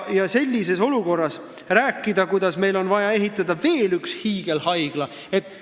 Ja sellises olukorras rääkida, et meil on vaja ehitada veel üks hiigelhaigla?!